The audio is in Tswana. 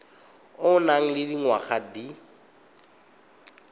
o nang le dingwaga di